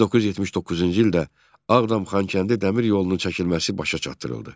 1979-cu ildə Ağdam-Xankəndi dəmir yolunun çəkilməsi başa çatdırıldı.